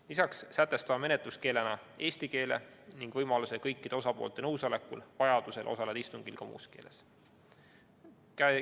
Lisaks sätestame menetluskeelena eesti keele ning võimaluse kõikide osapoolte nõusolekul vajadusel osaleda istungil ka muus keeles.